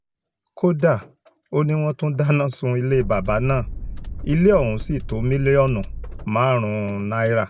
kódà ó ní wọ́n tún dáná sun ilé bàbà náà ilé ọ̀hún sì tó mílíọ̀nù márùn-ún náírà